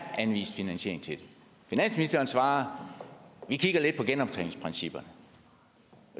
anvist finansiering til det finansministeren svarer at vi kigger lidt på genoptjeningsprincipper